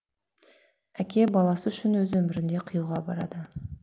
әке баласы үшін өз өмірін де қиюға барады